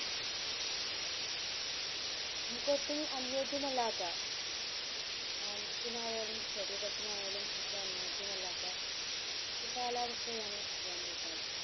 നമുക് ഒട്ടും ഒനോജയംമലയാത്ത മനസിനായാലും ശരീരത്തിനായാലും ഒട്ടും അന്യോജ്യമല്ലാത്ത ഒരു കാലാവസ്ഥയാണ് വേനൽ കാലം